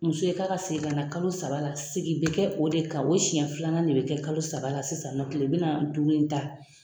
Muso ye k'a ka segin ka na kalo saba la segi bɛ kɛ o de kan o siɲɛ filanan de bɛ kɛ kalo saba la sisannɔ tile binaani duuru in ta.